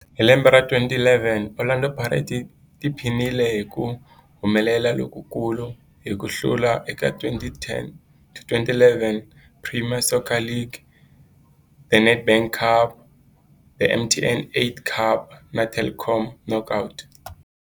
Hi lembe ra 2011, Orlando Pirates yi tiphinile hi ku humelela lokukulu hi ku hlula eka 2010-11 Premier Soccer League, The Nedbank Cup, The MTN 8 Cup na The Telkom Knockout.